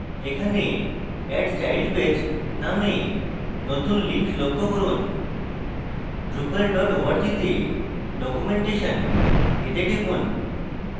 এখানে add child page named নতুন link লক্ষ্য করুন drupal org তে documentation a টিপুন